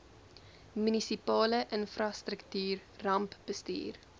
munisipale infrastruktuur rampbestuur